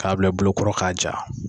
K'a bila i bolo kɔrɔ k'a ja.